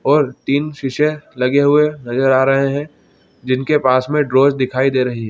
और तीन शीशे लगे हुए नज़र आ रहे है जिनके पास मे ड्रॉज दिखाई दे रही है।